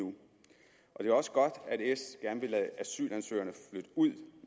jeg er også godt at s gerne vil lade asylansøgerne flytte ud